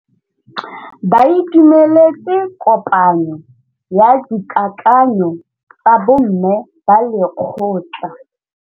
Ba itumeletse kôpanyo ya dikakanyô tsa bo mme ba lekgotla.